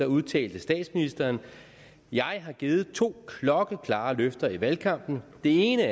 udtalte statsministeren jeg har givet to klokkeklare løfter i valgkampen det ene